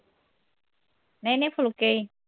ਨਹੀਂ ਨਹੀਂ ਫੁਲਕੇ ਈ